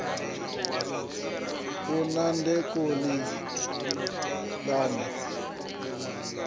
lṅa demokirasi ḽi re na